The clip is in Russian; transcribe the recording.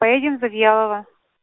поедем в завьялово